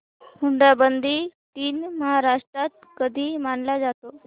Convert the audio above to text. हुंडाबंदी दिन महाराष्ट्रात कधी मानला जातो